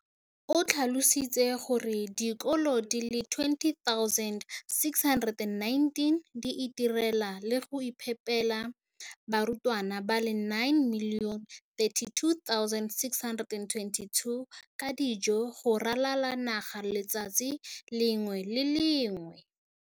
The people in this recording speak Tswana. O tlhalositse gore dikolo di le 20 619 di itirela le go iphepela barutwana ba le 9 032 622 ka dijo go ralala naga letsatsi le lengwe le le lengwe.